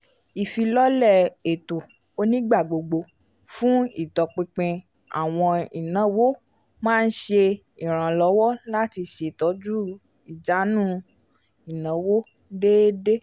ìfilọ́lẹ̀ ètó onígbàgbógbó fún itọ̀pìnpìn awọn ìnáwó má n ṣe iranlọwọ lati ṣetọju ijànú ìnáwó déédé